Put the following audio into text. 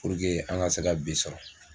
Puruke an ka se ka bi sɔrɔ